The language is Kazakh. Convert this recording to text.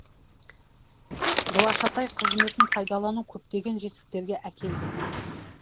глашатай қызметін пайдалану көптеген жетістіктерге әкелді